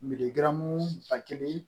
Miiri ba kelen